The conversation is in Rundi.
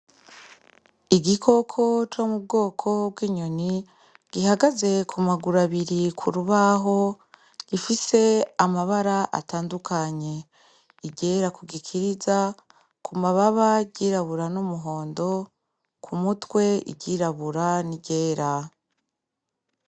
Igikoko co mu bwoko bw’inyoni gihagaze ku maguru abiri ku rubaho gifise amabara atandukanye , iryera ku gikiriza, ku mababa iryirabura n’umuhondo , ku mutwe iryirabura n’iryera.